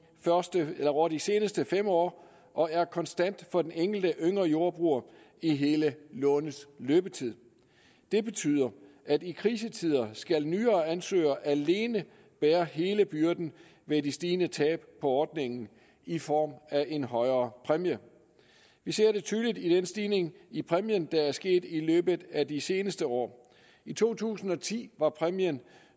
ordningen over de seneste fem år og er konstant for den enkelte yngre jordbruger i hele lånets løbetid det betyder at i krisetider skal nyere ansøgere alene bære hele byrden med det stigende tab på ordningen i form af en højere præmie vi ser det tydeligt i den stigning i præmien der er sket i løbet af de seneste år i to tusind og ti var præmien